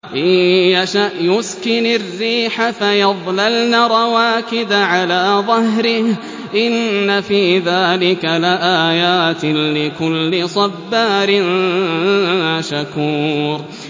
إِن يَشَأْ يُسْكِنِ الرِّيحَ فَيَظْلَلْنَ رَوَاكِدَ عَلَىٰ ظَهْرِهِ ۚ إِنَّ فِي ذَٰلِكَ لَآيَاتٍ لِّكُلِّ صَبَّارٍ شَكُورٍ